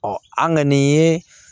an ŋani ye